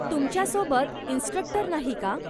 तुमच्यासोबत इन्स्ट्रक्टर नाही का?